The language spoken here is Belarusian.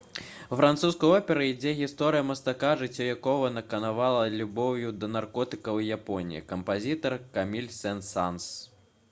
у французскай оперы ідзе гісторыя мастака «жыццё якога наканавана любоўю да наркотыкаў і японіі» кампазітар — каміль сен-санс